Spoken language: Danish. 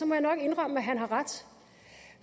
må jeg nok indrømme at han har ret